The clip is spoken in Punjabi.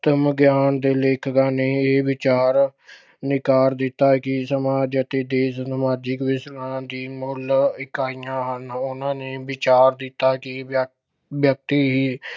ਆਤਮ ਗਿਆਨ ਦੇ ਲੇਖਕਾਂ ਨੇ ਇਹ ਵਿਚਾਰ ਨਕਾਰ ਦਿੱਤਾ ਕਿ ਸਮ੍ਹਾਂ ਜੱਦੀ ਦੇਸ਼ ਸਮਾਜਿਕ ਦੀ ਮੁੱਲ ਇਕਾਈਆਂ ਹਨ। ਉਨ੍ਹਾਂ ਨੇ ਵਿਚਾਰ ਦਿੱਤਾ ਕਿ ਵਿਅ ਅਹ ਵਿਅਕਤੀ ਹੀ